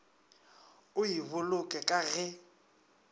o e boloke ka ge